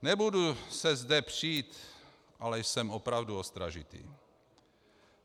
Nebudu se zde přít, ale jsem opravdu ostražitý.